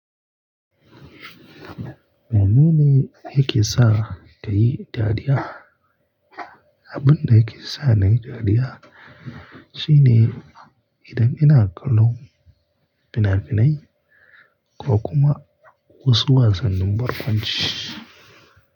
Maimuni, yake sa ta yi dariya? Abin da yake sa na yi dariya shine idan ina kallon fina-finai ko kuma wasu wasannin barkwanci.